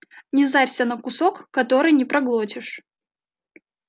не зарься на кусок который не проглотишь